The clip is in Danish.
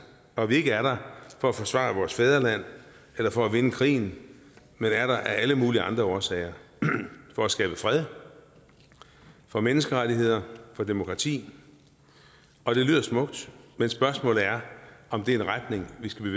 og at vi ikke er der for at forsvare vores fædreland eller for at vinde krigen men er der af alle mulige andre årsager for at skabe fred for menneskerettigheder for demokrati og det lyder smukt men spørgsmålet er om det er en retning vi skal